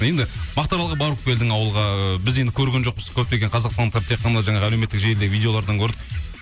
енді мақтаралға барып келдің ауылға ы біз енді көрген жоқпыз көптеген қазақстандықтар тек қана жаңағы әлеуметтік желіде видеолардан көрдік